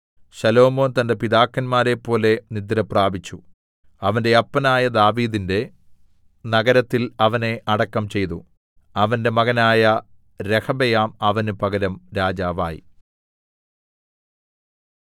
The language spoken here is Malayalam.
ശലോമോൻ തന്റെ പിതാക്കന്മാരെപ്പോലെ നിദ്രപ്രാപിച്ചു അവന്റെ അപ്പനായ ദാവീദിന്റെ നഗരത്തിൽ അവനെ അടക്കം ചെയ്തു അവന്റെ മകനായ രെഹബെയാം അവന് പകരം രാജാവായി